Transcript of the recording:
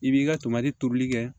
I b'i ka tomadi tobili kɛ